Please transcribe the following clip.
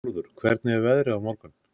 Bárður, hvernig er veðrið á morgun?